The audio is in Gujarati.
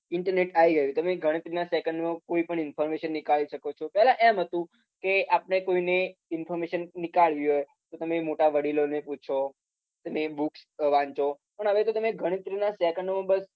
internet આવી ગયુંમ તમે ગણતરી ના second માં કોઈ પણ information નીકાળી શકો છો પેલા એમ હતું કે આપણે કોઈ ને inforemation નીકાળવી હોય તો તમે મોટા વડીલો ને પૂછો, અને books વાંચો પણ હવે તો તમે ગણતરી ના second માં બસ